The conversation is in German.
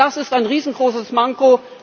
Das ist ein riesengroßes Manko.